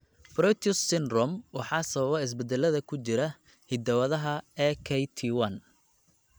Proteus syndrome waxaa sababa isbeddellada ku jira hidda-wadaha AKT1.